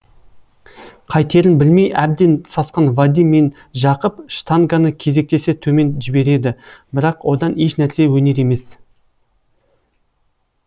қайтерін білмей әбден сасқан вадим мен жақып штанганы кезектесе төмен жібереді бірақ одан еш нәрсе өнер емес